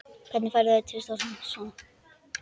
Hvernig færðu vistir og svona?